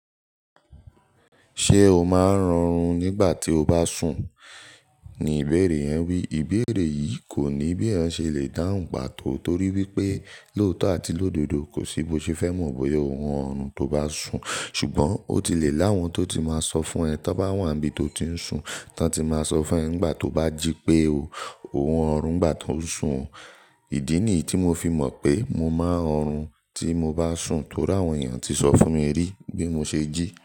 "Ṣé o máa ń rọrùn nígbà tí o bá sùn?" ni ìbéèrè yẹn wí. Ìbéèrè yìí kò ní bí ẹ̀ ń ṣe le dáhùn pàtó torí wípé lóòótọ́ àti lódodo kò sí bó ṣe fẹ́ mọ bóyá ò ń hun ọrùn tó bá sùn. Ṣùgbọ́n ó ti lè láwọn tó ti máa sọ fún ẹ tí wọ́n bá wà níbi tó ti ń sùn. Tọ ti máa sọ fún ẹ nígbà tó bá jí pé ò ń hun ọrùn nígbà tó sùn. Ìdí nìyí tí mo fi mọ̀ pé mo máa ń han tí mo bá sùn torí àwọn èèyàn ti sọ fún mi rí bí mo ṣe jí.